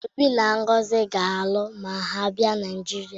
Obi na Ngozi ga-alụ ma ha bịa Naịjirịa